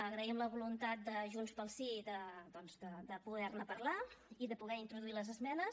agraïm la voluntat de junts pel sí doncs de poder ne parlar i de poder introduir les esmenes